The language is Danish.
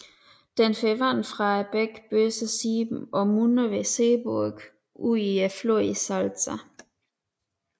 Den får vand fra bækken Böse Sieben og munder ved Seeburg ud i floden Salza